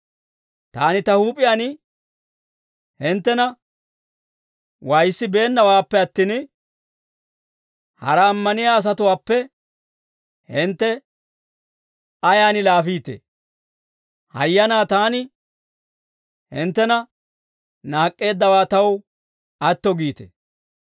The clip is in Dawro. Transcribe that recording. Taani ta huup'iyaan hinttena waayissabeennawaappe attin, hara ammaniyaa asatuwaappe hintte ayaan laafiitee? Hayyanaa taani hinttena naak'k'eeddawaa taw atto giite.